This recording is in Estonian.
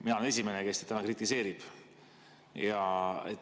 Mina olen esimene, kes kritiseerib.